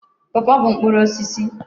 Pọọpọọ bụ mkpụrụ osisi.